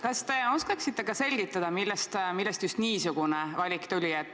Kas te oskaksite selgitada, millest tuli just niisugune valik?